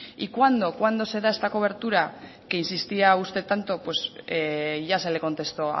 y cuándo cuándo se da esta cobertura que insistía usted tanto pues ya se le contestó